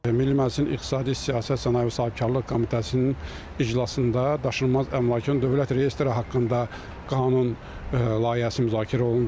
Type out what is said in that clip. Milli Məclisin İqtisadi Siyasət, Sənaye və Sahibkarlıq Komitəsinin iclasında daşınmaz əmlakın dövlət reyestri haqqında qanun layihəsi müzakirə olundu.